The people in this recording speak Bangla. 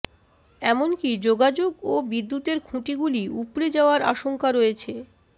এমনকি যোগাযোগ ও বিদ্যুতের খুঁটিগুলি উপড়ে যাওয়ার আশঙ্কা রয়েছে